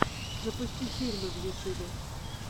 запусти фильмы в ютюбе